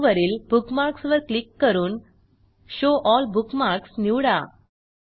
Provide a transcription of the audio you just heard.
menu वरील bookmarks वर click करून शो एल बुकमार्क्स निवडा